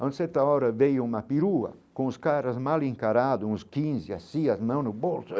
Há certa hora veio uma pirua com os caras mal encarados, uns quinze, as cias, mão no bolso.